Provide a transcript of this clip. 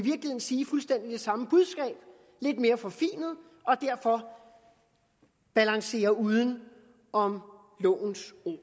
sige fuldstændig det samme budskab lidt mere forfinet og derfor balancere uden om lovens ord og